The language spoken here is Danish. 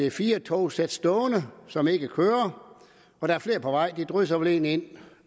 ic4 togsæt stående som ikke kører og der er flere på vej de drysser vel egentlig ind